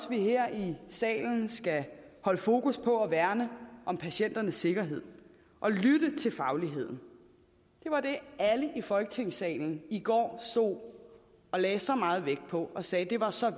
vi her i salen skal holde fokus på at værne om patienternes sikkerhed og lytte til fagligheden det var det alle i folketingssalen i går stod og lagde så meget vægt på og sagde var så